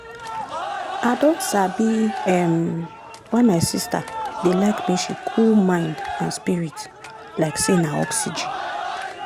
i don sabi um why my sister dey like make she cool mind and spirit like say na oxygen.